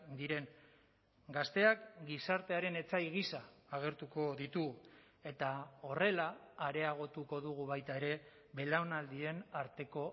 diren gazteak gizartearen etsai gisa agertuko ditu eta horrela areagotuko dugu baita ere belaunaldien arteko